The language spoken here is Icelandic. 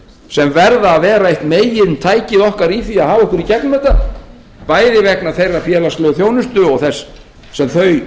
sem verða að vera eitt megintækið okkar í því að hafa okkur í gegnum þetta bæði vegna þeirrar félagslegu þjónustu og nærþjónustunnar sem þau